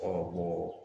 Ka bɔ